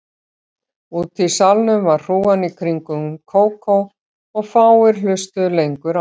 Úti í salnum var hrúgan í kringum Kókó og fáir hlustuðu lengur á